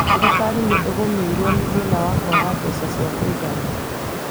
Thirkarĩ nĩ ĩgũmĩirwo nĩ thĩna wa kwaga mbeca cia kũigana